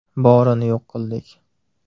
Borini yo‘q qildik.